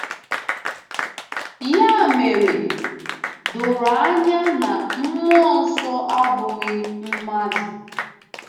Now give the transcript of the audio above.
Ya mere, doro anya na Mmụọ Nsọ abụghị mmadụ.